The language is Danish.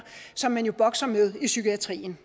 som man jo bokser med i psykiatrien